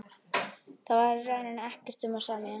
Þar var í rauninni ekkert um að semja.